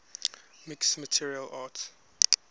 mixed martial arts